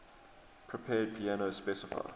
prepared piano specify